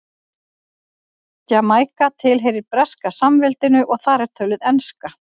Jamaíka tilheyrir Breska samveldinu og þar er töluð enska.